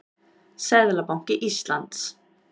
Seðlabanki Íslands.